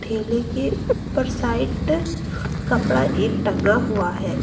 ठेले के ऊपर साइड कपड़ा एक टंगा हुआ है।